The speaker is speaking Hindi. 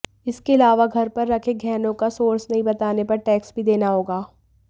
इसके अलावा घर पर रखे गहनों का सोर्स नहीं बताने पर टैक्स भी देना होगा